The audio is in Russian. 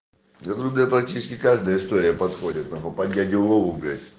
я говорю практически каждая история подходит могу нахуй под дядю вову блять